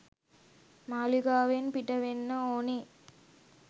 මාලිගාවෙන් පිට වෙන්න ඕනේ.